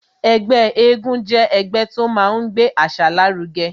Ẹgbẹ́ égún jẹ́ ẹgbẹ́ tó máa ń gbé àṣà lárugẹ